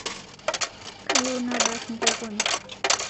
Kayieu nabar nkokon